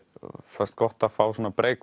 fannst gott að fá svona